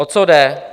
O co jde?